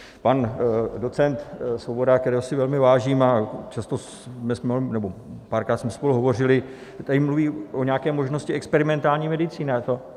Pan docent Svoboda, kterého si velmi vážím a párkrát jsme spolu hovořili, tady mluví o nějaké možnosti experimentální medicíny.